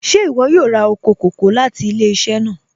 Ṣẹ̀ iwọ yóò rá oko kòkò̀ láti ilẹ̀-iṣẹ̀ náà?